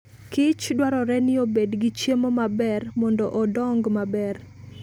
Kich dwarore ni obed gi chiemo maber mondo odong maber